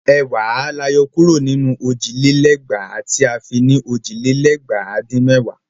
Ẹ̀wàá la yọ kúrò nínú òjì lé lẹ́gbàá tí a fi ní òjì lé lẹ́gbàá dín mẹ́wàá.